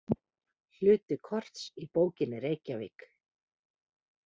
Hluti korts í bókinni Reykjavík.